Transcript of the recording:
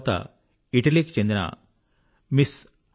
తర్వాత ఇటలీకి చెందిన ఎంఎస్